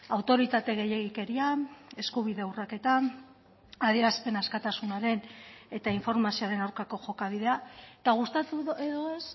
autoritate gehiegikerian eskubide urraketan adierazpen askatasunaren eta informazioaren aurkako jokabidea eta gustatu edo ez